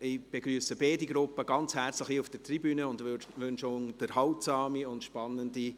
Ich begrüsse beide Gruppen auf der Tribüne ganz herzlich und wünsche unterhaltsame und spannende